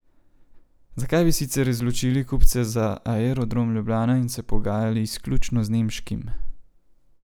Zakaj bi sicer izločili kupce za Aerodrom Ljubljana in se pogajali izključno z nemškim?